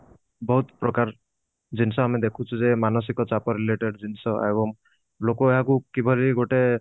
ବହୁତ ପ୍ରକାର ଜିନିଷ ଆମେ ଦେଖୁଛୁ ଯେ ମାନସିକ ଚାପ related ଜିନିଷ ଏବଂ ଲୋକ ଏହାକୁ କିଭଳି ଗୋଟେ